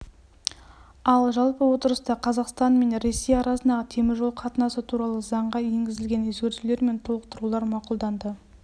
ал жалпы отырыста қазақстан мен ресей арасындағы теміржол қатынасы туралы заңға енгізілген өзгертулер мен толықтырулар мақұлданды